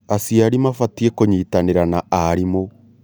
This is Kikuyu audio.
Aciari mabatie kũnyitanĩra na arimũ.